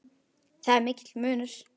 Þar er mikill munur.